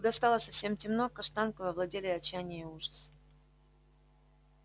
когда стало совсем темно каштанкою овладели отчаяние и ужас